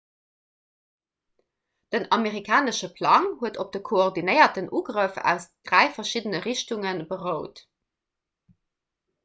den amerikanesche plang huet op de koordinéierten ugrëff aus dräi verschiddene richtunge berout